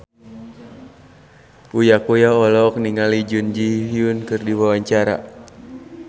Uya Kuya olohok ningali Jun Ji Hyun keur diwawancara